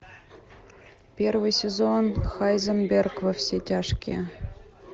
первый сезон хайзенберг во все тяжкие